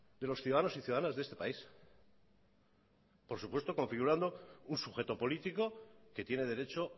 de los ciudadanos y ciudadanas de este país por supuesto configurando un sujeto político que tiene derecho